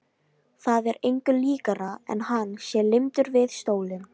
Það er engu líkara en hann sé límdur við stólinn.